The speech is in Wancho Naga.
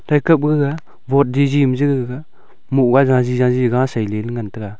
thaikap baga woard jaji ma ja gaga mohga jaji jaji ga sailey ley ngan taiga.